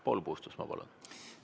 Paul Puustusmaa, palun!